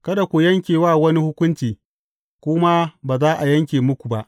Kada ku yanke wa wani hukunci, ku ma ba za a yanke muku ba.